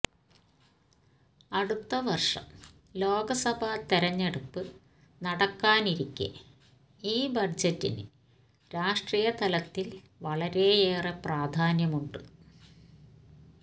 അടുത്ത വര്ഷം ലോക്സഭാ തെരഞ്ഞെടുപ്പ് നടക്കാനിരിക്കെ ഈ ബജറ്റിന് രാഷ്ട്രീയതലത്തില് വളരെയേറെ പ്രാധാന്യമുണ്ട്